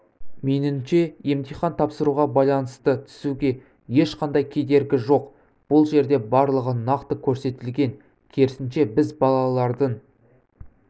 меніңше емтихан тапсыруға байланысты түсуге ешқандай кедергі жоқ бұл жерде барлығы нақты көрсетілген керісінше біз балалардың